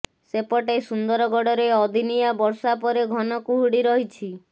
ସେପଟେ ସୁନ୍ଦରଗଡ଼ରେ ଅଦିନିଆ ବର୍ଷା ପରେ ଘନ କୁହୁଡ଼ି ରହିଛି